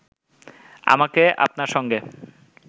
আমাকে আপনার সঙ্গে